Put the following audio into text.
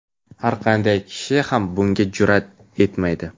har qanday kishi ham bunga jur’at etmaydi.